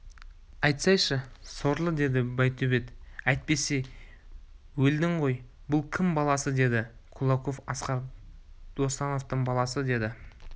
айтсайшы сорлы деді байтөбет әйтпесе өлдің ғой бұл кім баласы деді кулаков асқар досановтың баласы деді